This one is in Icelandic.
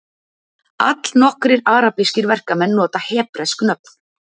Allnokkrir arabískir verkamenn nota hebresk nöfn